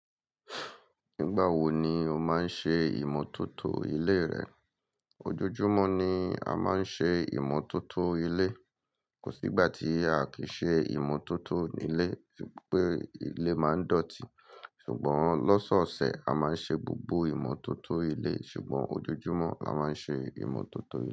Nígbà wo ni o máa ń ṣe ìmótótó ilé rẹ? Ojoojúmọ́ ni a máa ń ṣe ìmótótó ilé. Kò sí ìgbà tí a kì í ṣe ìmótótó ní ilé, torípé ilé máa ń dọ̀tí. Ṣùgbọ́n lọ́sọ̀ọ̀sẹ̀, a máa ń ṣe gbogbo ìmótótó ilé, ṣùgbọ́n ojoojúmọ́ a máa ń ṣe ìmótótó ilé.